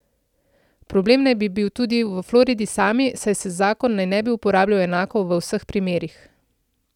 Problem naj bi bil tudi v Floridi sami, saj se zakon naj ne bi uporabljal enako v vseh primerih.